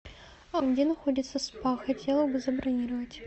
где находится спа хотела бы забронировать